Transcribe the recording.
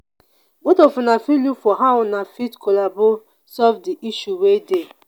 both of una fit look for how una fit collabo solve di issue wey dey